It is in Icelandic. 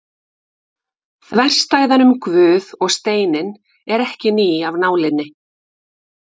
Þverstæðan um Guð og steininn er ekki ný af nálinni.